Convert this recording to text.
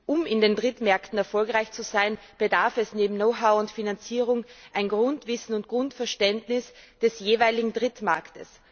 Um in Drittmärkten erfolgreich zu sein, bedarf es neben Know how und Finanzierung eines Grundwissens und Grundverständnisses des jeweiligen Drittmarkts.